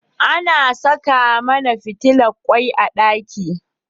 Ana Saka mAna fitilan kwai a daki